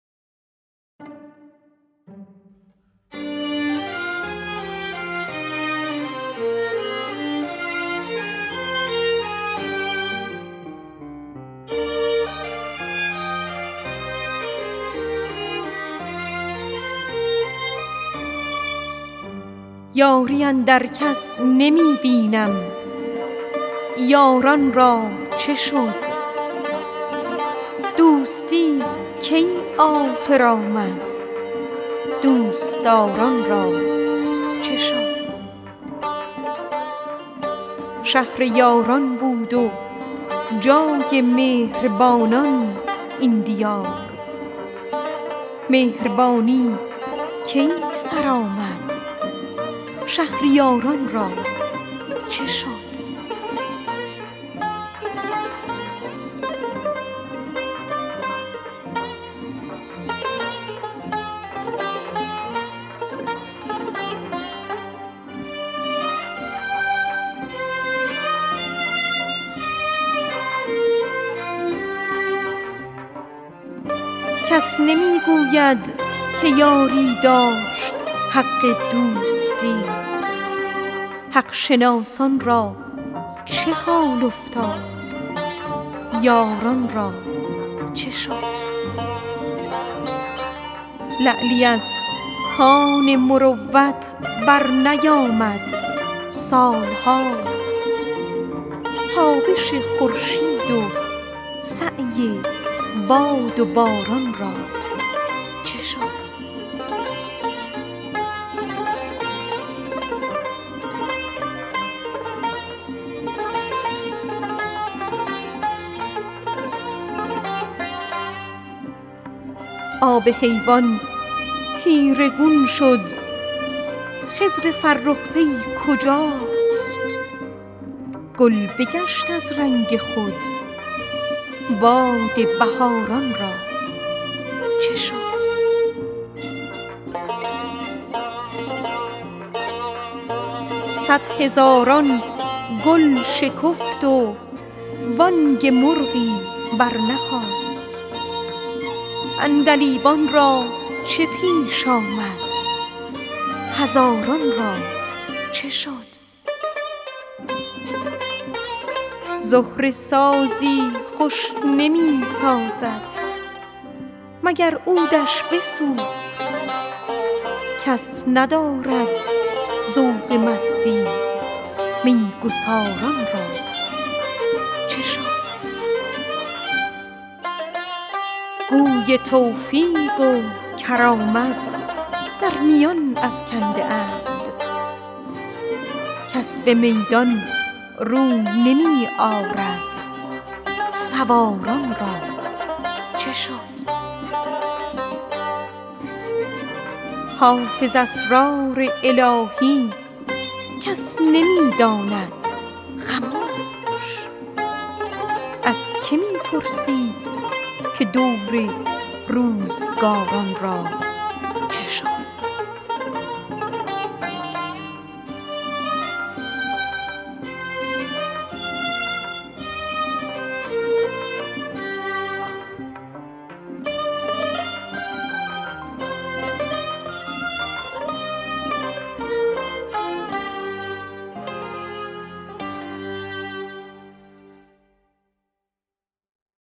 یاری اندر کس نمی بینیم یاران را چه شد دوستی کی آخر آمد دوست دار ان را چه شد آب حیوان تیره گون شد خضر فرخ پی کجاست خون چکید از شاخ گل باد بهار ان را چه شد کس نمی گوید که یاری داشت حق دوستی حق شناسان را چه حال افتاد یاران را چه شد لعلی از کان مروت برنیامد سال هاست تابش خورشید و سعی باد و باران را چه شد شهر یاران بود و خاک مهر بانان این دیار مهربانی کی سر آمد شهریار ان را چه شد گوی توفیق و کرامت در میان افکنده اند کس به میدان در نمی آید سوار ان را چه شد صدهزاران گل شکفت و بانگ مرغی برنخاست عندلیبان را چه پیش آمد هزاران را چه شد زهره سازی خوش نمی سازد مگر عود ش بسوخت کس ندارد ذوق مستی می گسار ان را چه شد حافظ اسرار الهی کس نمی داند خموش از که می پرسی که دور روزگار ان را چه شد